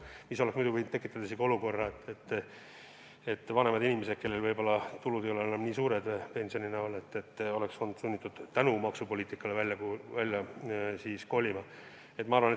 See oleks võinud tekitada olukorra, kus vanemad inimesed, kelle tulud ei ole enam nii suured, kes saavad ainult pensioni, oleks olnud sunnitud maksupoliitika tõttu kodunt välja kolima.